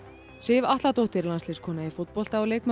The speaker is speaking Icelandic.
Sif Atladóttir landsliðskona í fótbolta og leikmaður